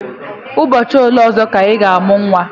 Ụbọchị ole ọzọ ka ị ga-amụ nwa?